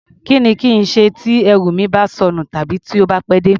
Kí ni kí n ṣe tí ẹrù mi bá sọnù tàbí tó bá pẹ́ dé?